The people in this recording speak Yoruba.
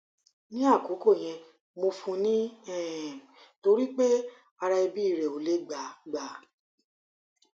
ni akoko yen mo fun ni um tori pe ara ebi re o le gba gba